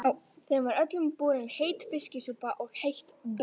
Þeim var öllum borin heit fiskisúpa og heitt brauð.